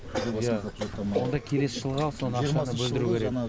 иә онда келесі жылға сол ақшаны бөлдіру керек